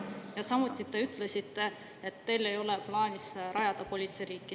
Ja samuti te ütlesite, et teil ei ole plaanis rajada politseiriiki.